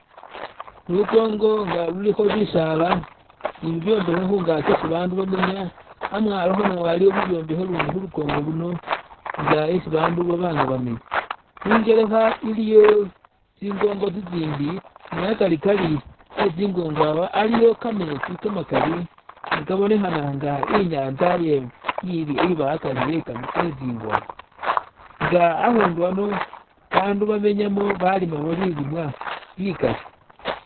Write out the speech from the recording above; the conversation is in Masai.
Lukongo nga lulikho bisaala ni bibyombekhe khungaki isi bandu bamenya amwalokho nawo aliwo bibyombekhe lundi khulikongo luno nga hesi bandu babanga bamenya ningelekha iliyo tsingongo tsitsindi ni hakarikari hetsingongo awa aliwo kameetsi kamakali ne kabonekana inga inyaza iye iba hagari hetsingongo inga hakundu hano bandu bamenyamo balimamo bilimwa bikali.